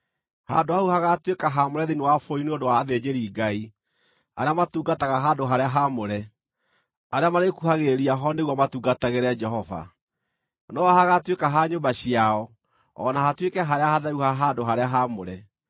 Handũ hau hagaatuĩka haamũre thĩinĩ wa bũrũri nĩ ũndũ wa athĩnjĩri-Ngai, arĩa matungataga handũ-harĩa-haamũre, arĩa marĩĩkuhagĩrĩria ho nĩguo matungatagĩre Jehova. No ho hagaatuĩka ha nyũmba ciao o na hatuĩke harĩa hatheru ha handũ-harĩa-haamũre.